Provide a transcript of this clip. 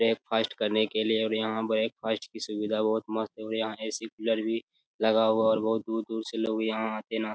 breakfast करने के लिए और यहाँ ब्रेकफ़ास्ट की सुविधा बोहोत मस्त है और यहाँ ए_सी कूलर भी लगा हुआ है और बोहोत दूर-दूर से लोग यहाँ आते ना --